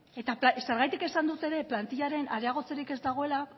eta zergatik esan dut ere plantillaren areagotzerik ez dagoela